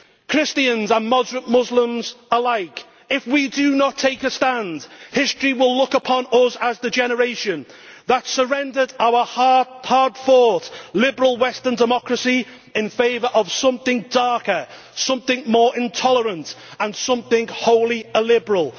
Christians and Muslims alike, if we do not take a stand, history will look upon us as the generation that surrendered our hard fought liberal Western democracy in favour of something darker, something more intolerant and something wholly illiberal.